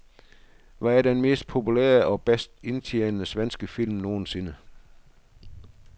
Hvad er den mest populære og bedst indtjenende svenske film nogensinde?